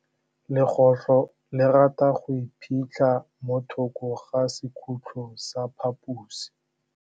Legôtlô le rata go iphitlha mo thokô ga sekhutlo sa phaposi.